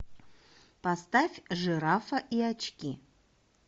поставь жирафа и очки